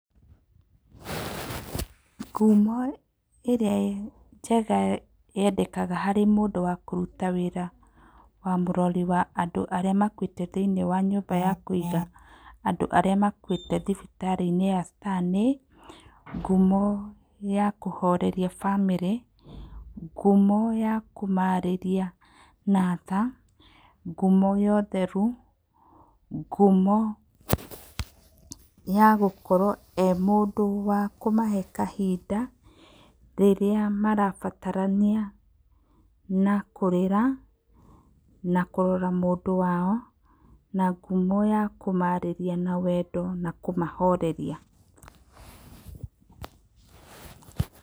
Ngumo ĩrĩa njega yendekaga harĩ mũndũ wa kũruta wĩra wa mũrori wa andũ arĩa makuĩte thĩinĩ wa nyũmba ya kũiga andũ arĩa makuĩte thibitarĩ-inĩ ya Star nĩ; ngumo ya kũhoreria bamĩrĩ, ngumo ya kũmarĩria na tha, ngumo ya ũtheru, ngumo ya gũkorwo e mũndũ wa kũmahe kahinda rĩrĩa marabatarania na kũrĩra na kũrora mũndũ wao na ngumo ya kũmarĩrĩa na wendo na kũmahoreria.